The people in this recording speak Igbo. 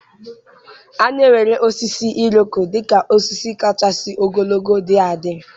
A na-ewere osisi Iroko dị ka osisi kachasị ogologo dị adị.